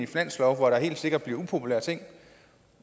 finanslov hvor der helt sikkert bliver upopulære ting